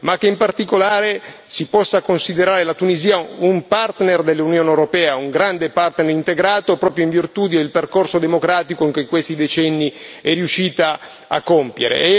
e che in particolare si possa considerare la Tunisia un partner dell'Unione europea, un grande partner integrato, proprio in virtù del percorso democratico che in questi decenni è riuscita a compiere.